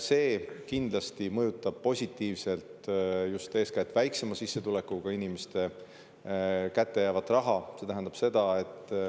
See kindlasti mõjutab positiivselt just eeskätt väiksema sissetulekuga inimestele kättejäävat raha.